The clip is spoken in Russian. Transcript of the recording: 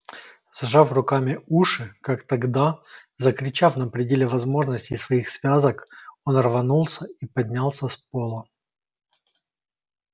зажав руками уши как тогда закричав на пределе возможностей своих связок он рванулся и поднялся с пола